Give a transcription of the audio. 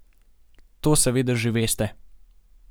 To seveda že veste.